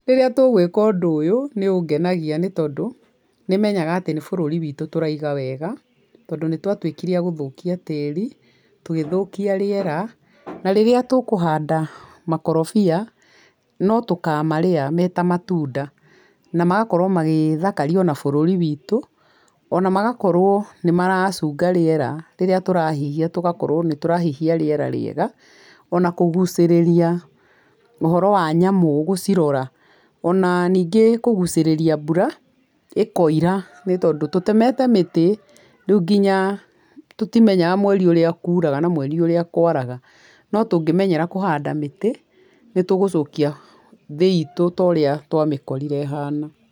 Rĩrĩa tũgwĩka ũndũ ũyũ, nĩ ũngenagia nĩ tondũ, nĩmenyaga atĩ nĩ bũrũri witũ tũraiga wega, tondũ nĩ twatwĩkire agũthokia tĩri, tũgĩthokia rĩera, na rĩrĩa tũkũhanda makorobia no tũkamarĩa meta matunda, namagakorwo magĩthakarĩa ona bũrũri witũ, ona magakorwo nĩ maracunga rĩera rĩrĩa tũrahihia, tũgakorwo nĩ tũrahihia rĩera rĩega, ona kũgucĩrĩria ũhoro wa nyamũ gũcirora, ona ningĩ kũgucĩrĩria mbura, ĩkoira, nĩ tondũ tũtemete mĩtĩ rĩu nginya tũtimenyaga mweri ũrĩa kuraga, kana mweri ũrĩa kwaraga, no tũngĩmenyera kũhanda mĩtĩ, nĩ tũgũcokia thĩ itũ torĩa twamĩkorire ĩhana.